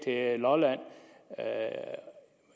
lolland